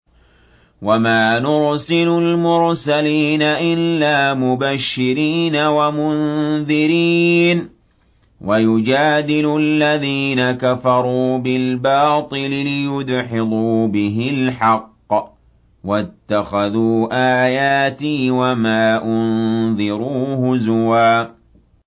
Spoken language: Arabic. وَمَا نُرْسِلُ الْمُرْسَلِينَ إِلَّا مُبَشِّرِينَ وَمُنذِرِينَ ۚ وَيُجَادِلُ الَّذِينَ كَفَرُوا بِالْبَاطِلِ لِيُدْحِضُوا بِهِ الْحَقَّ ۖ وَاتَّخَذُوا آيَاتِي وَمَا أُنذِرُوا هُزُوًا